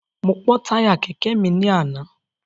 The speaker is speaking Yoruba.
Mo pọ́ táyà kẹ̀kẹ́ mi ní àná.